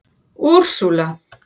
Úrsúla